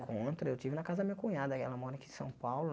Encontro, eu tive na casa da minha cunhada, e ela mora aqui em São Paulo.